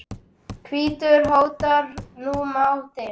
hvítur hótar nú máti.